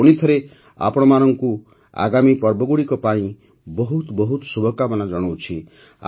ମୁଁ ପୁଣିଥରେ ଆପଣମାନଙ୍କୁ ଆଗାମୀ ପର୍ବଗୁଡ଼ିକ ପାଇଁ ବହୁତ ବହୁତ ଶୁଭକାମନା ଜଣାଉଛି